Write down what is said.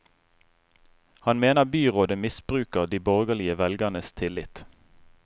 Han mener byrådet misbruker de borgerlige velgernes tillit.